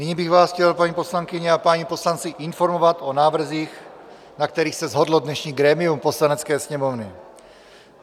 Nyní bych vás chtěl, paní poslankyně a páni poslanci, informovat o návrzích, na kterých se shodlo dnešní grémium Poslanecké sněmovny.